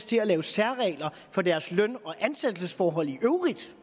til at lave særregler for deres løn og ansættelsesforhold i øvrigt